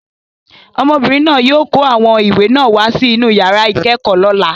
Ọmọbìnrin náà yóò kó àwọn ìwé náà wá sí inú yàrá ìkẹ́kọ̀ọ́ lọ́la.